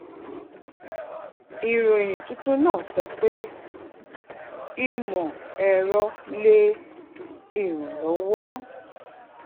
ìròyìn tuntun náà sọ pé ìmọ ẹrọ lè irànlọwo